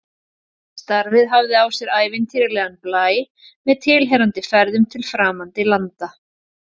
Starfið hafði á sér ævintýralegan blæ, með tilheyrandi ferðum til framandi landa.